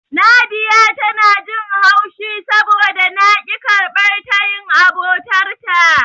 Nadiya tana jin haushi saboda na ƙi karɓar tayin abotarta.